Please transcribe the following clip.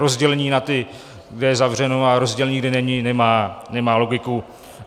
Rozdělení na ty, kdy je zavřeno, a rozdělení, kdy není, nemá logiku.